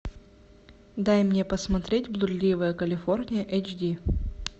дай мне посмотреть блудливая калифорния эйч ди